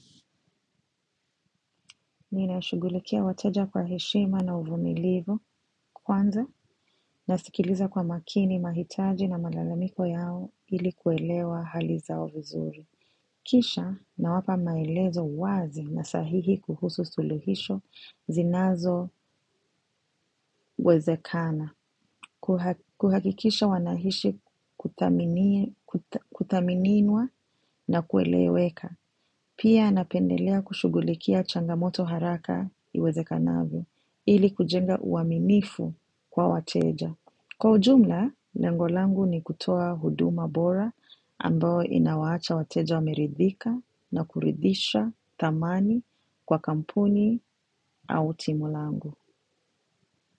Nina shugulikia wateja kwa heshima na uvumilivu kwanza na sikiliza kwa makini mahitaji na malalamiko yao ili kuelewa hali zao vizuri. Kisha na wapa maelezo wazi na sahihi kuhusu suluhisho zinazo wezekana. Kuhakikisha wanahishi kuthaminiwa na kueleweka. Pia napendelea kushugulikia changamoto haraka iweze kanavyo ili kujenga uamimifu kwa wateja. Kwa ujumla, lengolangu ni kutoa huduma bora ambao inawaacha wateja wameridhika na kuridhisha thamani kwa kampuni au timulangu.